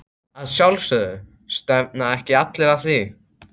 Að sjálfsögðu, stefna ekki allir að því?